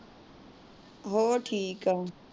ਹੋਰ ਠੀਕ ਏ।